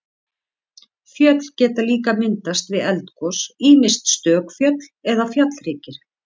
Fjöll geta líka myndast við eldgos, ýmist stök fjöll eða fjallhryggir.